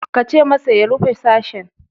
Kace masa ya rufe sashen.